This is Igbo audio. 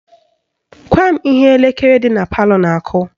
Gwa m ihe elekere dị na palọ na-akụ